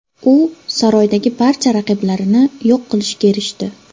U saroydagi barcha raqiblarini yo‘q qilishga erishdi.